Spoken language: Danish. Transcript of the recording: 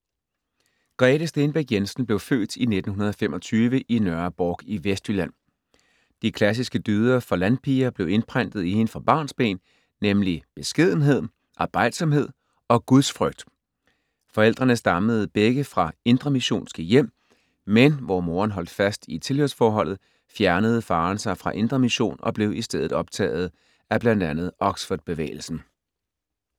Grete Stenbæk Jensen blev født i 1925 i Nørre Bork i Vestjylland. De klassiske dyder for landpiger blev indprentet i hende fra barnsben, nemlig beskedenhed, arbejdsomhed og gudsfrygt. Forældrene stammede begge fra indremissionske hjem, men hvor moren holdt fast i tilhørsforholdet, fjernede faren sig fra Indre Mission og blev i stedet optaget af bl.a. Oxford-bevægelsen.